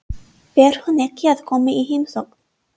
Fer hún ekki að koma í heimsókn?